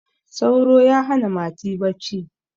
sauro ya hana mati bacci